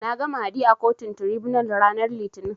Nags Mahdi a kotun Tiraibunal ranar Litinin.